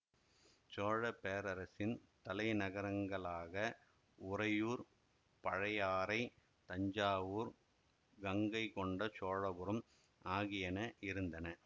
சோழப்பேரரசின் தலைநகரங்களாக உறையூர் பழையாறைதஞ்சாவூர் கங்கைகொண்ட சோழபுரம் ஆகியன இருந்தன